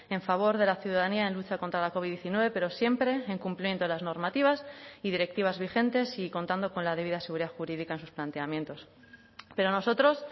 en favor de la ciudadanía en lucha contra la covid diecinueve pero siempre en cumplimiento de las normativas y directivas vigentes y contando con la debida seguridad jurídica en sus planteamientos pero nosotros